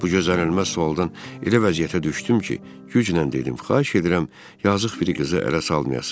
Bu gözlənilməz sualdan elə vəziyyətə düşdüm ki, güclə dedim: Xahiş edirəm, yazıq biri qızı ələ salmayasız.